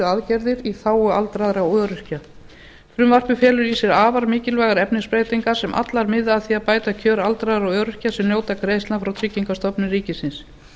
aðgerðir í þágu aldraðra og öryrkja frumvarpið felur í sér afar mikilvægar efnisbreytingar sem allar miða að því að bæta kjör aldraðra og öryrkja sem njóta greiðslna frá tryggingastofnun ríkisins